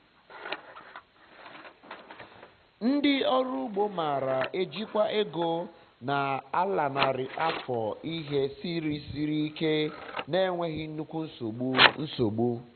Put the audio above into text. ndị ọrụ ugbo mara e jikwa ego na a lanarị afọ ihe siri siri ike na-enweghi nnukwu nsogbu nsogbu